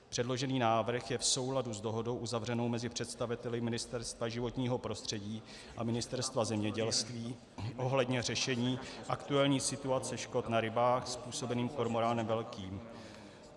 Předložený návrh je v souladu s dohodou uzavřenou mezi představiteli Ministerstva životního prostředí a Ministerstva zemědělství ohledně řešení aktuální situace škod na rybách způsobených kormoránem velkým.